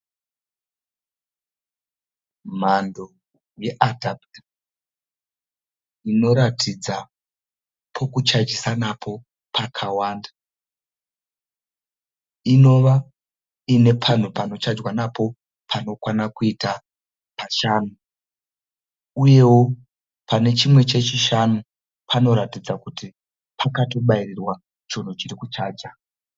Mhando yeadhaputa inoratidza pokuchajisa napo pakawanda, inova ine panhu panochajwa napo panokwana kuita pashanu. Uyewo pane chimwe chechishanu panoratidza kuti pakatobairirwa chinhu chiri kuchaja.